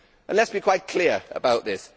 Let us be quite clear about this.